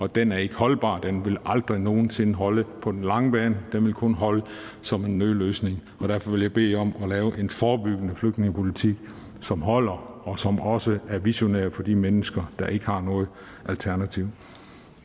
den er ikke holdbar og den vil aldrig nogen sinde holde på den lange bane den vil kun holde som en nødløsning og derfor vil jeg bede jer om at lave en forebyggende flygtningepolitik som holder og som også er visionær for de mennesker der ikke har noget alternativ